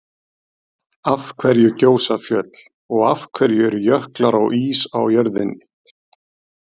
Af hverju gjósa fjöll? og Af hverju eru jöklar og ís á jörðinni?